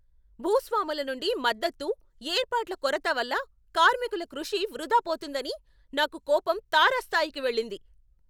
భూస్వాముల నుండి మద్దతు, ఏర్పాట్ల కొరత వల్ల కార్మికుల కృషి వృధా పోతుందని నాకు కోపం తారాస్థాయికి వెళ్ళింది.